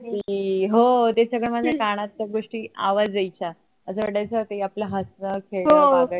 कि हो ते सगळ माझ्या कानात त्या गोष्टी आवाज यायचा ते आपल हसण, खेळण बागडण